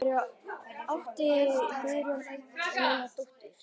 Fyrir átti Guðjón eina dóttur.